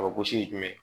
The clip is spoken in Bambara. A bɛ gosi jumɛn